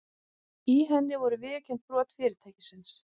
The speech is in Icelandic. Í henni voru viðurkennd brot fyrirtækisins